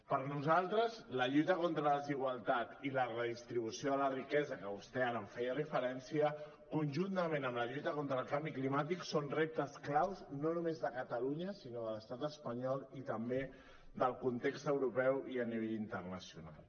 per a nosaltres la lluita contra la desigualtat i la redistribució de la riquesa que vostè ara hi feia referència conjuntament amb la lluita contra el canvi climàtic són reptes clau no només de catalunya sinó de l’estat espanyol i també del context europeu i a nivell internacional